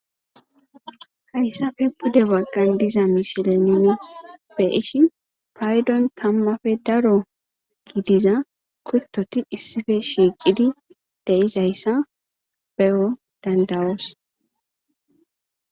Hayssafe bude waggan diza misile nuya beishi paydon kammafe daro giidiza kuttoti issife shiiqidi de izayssa beyo dandawoos.